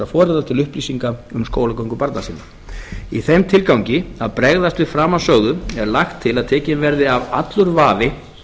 foreldra til upplýsinga um skólagöngu barna sinna í þeim tilgangi að bregðast við framansögðu er lagt til að tekinn verði af allur vafi